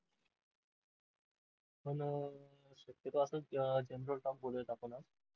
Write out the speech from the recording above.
पण अह शक्यतो असाच general talk वर बोलूयात आपण आज.